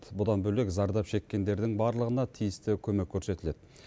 бұдан бөлек зардап шеккендердің барлығына тиісті көмек көрсетіледі